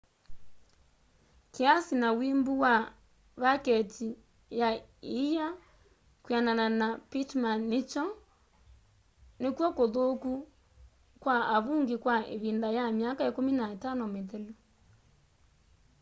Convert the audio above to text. kiasi na wimbu wa vaketi ya ia kwianana na pittman nikw'o kuthuku kwa avungi kwa ivinda ya myaka 15 mithelu